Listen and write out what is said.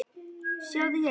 Sjáðu hérna.